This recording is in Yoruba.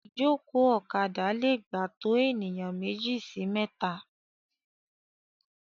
Ìjòkó ọ̀kadà lè gbà to ènìyàn méjì sí mẹta.